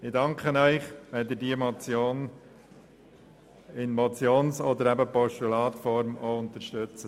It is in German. Ich danke Ihnen, wenn Sie diese Motion als Motion beziehungsweise als Postulat unterstützen.